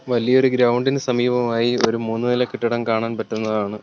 വലിയൊരു ഗ്രൗണ്ട് ഇന് സമീപമായി ഒരു മൂന്നുനില കെട്ടിടം കാണാൻ പറ്റുന്നതാണ്.